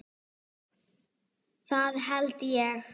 Það held ég